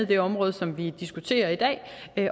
det område som vi diskuterer i dag